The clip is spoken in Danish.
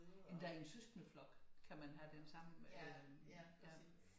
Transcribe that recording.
Endda i en søskendeflok kan man have den samme øh